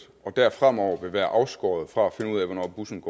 og der fremover ville være afskåret fra at finde ud af hvornår bussen